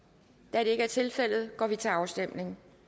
da det ikke er tilfældet går vi til afstemning